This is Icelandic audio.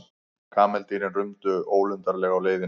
Kameldýrin rumdu ólundarlega á leiðinni.